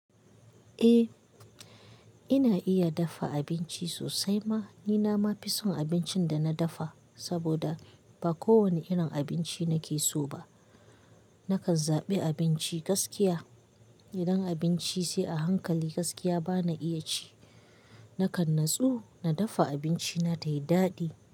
Eh, ina iya dafa abinci sosai ma. Ni na ma fi son abincin da na dafa saboda ba kowane irin abinci nake so ba. Nakan zaɓi abinci gaskiya. Idan abinci sai a hankali gaskiya bana iya ci. Nakan natsu na dafa abinci na tayi daɗi.